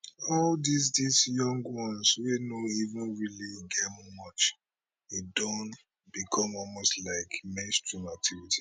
all dis dis young ones wey no even really get much e don become almost like mainstream activity